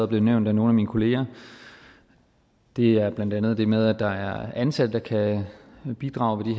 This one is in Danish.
blevet nævnt af nogle af mine kolleger og det er blandt andet det med at der er ansatte der kan bidrage ved de